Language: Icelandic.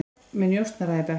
Með njósnara í bekk